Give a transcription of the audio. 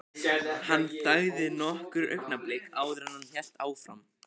Hann þagði nokkur augnablik áður en hann hélt áfram.